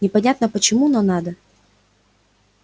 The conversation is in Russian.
непонятно почему но надо